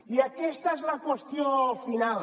i aquesta és la qüestió final